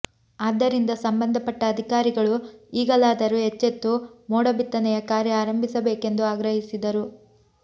ಆದ್ದರಿಂದ ಸಂಬಂಧಪಟ್ಟ ಅಧಿಕಾರಿಗಳು ಈಗಲಾದರೂ ಎಚ್ಚೆತ್ತು ಮೋಡ ಬಿತ್ತನೆಯ ಕಾರ್ಯ ಆರಂಭಿಸಬೇಕೆಂದು ಆಗ್ರಹಿಸಿದರು